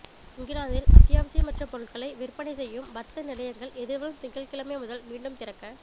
இங்கிலாந்தில் அத்தியாவசியமற்ற பொருட்களை விற்பனை செய்யும் வர்த்த நிலையங்கள் எதிர்வரும் திங்கட்கிழமை முதல் மீண்டும் திறக்க